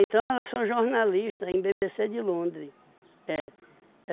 Então, elas são jornalistas em bêbêcê de Londres. É.